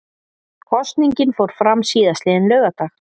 Kosningin fór fram síðastliðinn laugardag